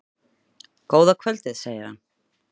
Góða kvöldið, segir hann.